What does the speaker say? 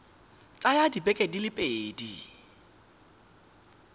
tsaya dibeke di le pedi